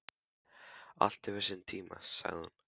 Allt hefur sinn tíma, sagði hún.